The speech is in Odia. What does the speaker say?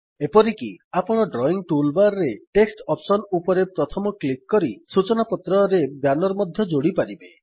ଏପରିକି ଆପଣ ଡ୍ରଇଙ୍ଗ୍ ଟୁଲବାର୍ ରେ ଟେକ୍ସଟ ଅପ୍ସନ୍ ଉପରେ ପ୍ରଥମ କ୍ଲିକ୍ କରି ସୂଚନାପତ୍ରରେ ବ୍ୟାନର୍ ମଧ୍ୟ ଯୋଡ଼ିପାରିବେ